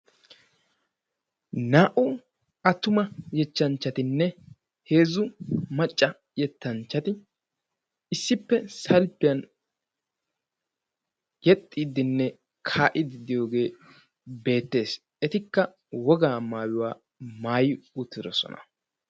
naa"u attuma yettanchchattine heezu macca yettanchati issipe ziiriyan yexxidine kaa"idi de"iyoge beettessi.